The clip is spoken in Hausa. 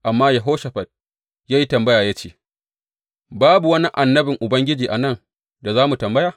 Amma Yehoshafat ya yi tambaya ya ce, Babu wani annabin Ubangiji a nan da za mu tambaya?